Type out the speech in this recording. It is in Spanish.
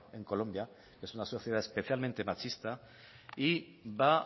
en colombia que es una sociedad especialmente machista y va